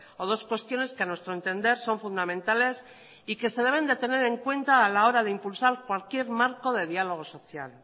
o dos cuestiones que a nuestro entender son fundamentales y que se deben de tener en cuenta a la hora de impulsar cualquier marco de diálogo social